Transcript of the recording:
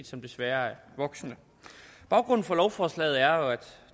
som desværre er voksende baggrunden for lovforslaget er at